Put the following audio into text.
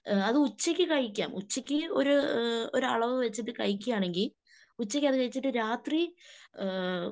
അത് ഉച്ചക്ക് കഴിക്കാം. ഉച്ചക്ക് ഒര് ഒരളവ് വെച്ചിട്ട് കഴിക്കുകയാണെങ്കിൽ ഉച്ചക്ക് അത് കഴിച്ചിട്ട് രാത്രി ഏഹ്